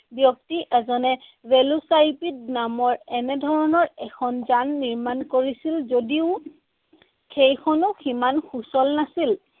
ব্যক্তি এজনে ভেল'চাইপিড নামৰ এনেধৰণৰ এখন যান নিৰ্মাণ কৰিছিল যদিও সেইখনো সিমান সুচল নাছিল।